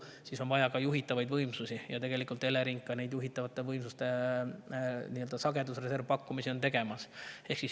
Siis on vaja ka juhitavaid võimsusi ja tegelikult Elering neid juhitavate võimsuste sagedusreservi pakkumisi ka teeb.